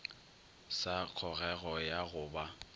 sa kgogego ya go ba